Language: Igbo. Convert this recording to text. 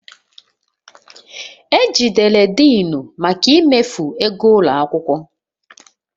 E jidere Denu maka imefu ego ụlọ akwụkwọ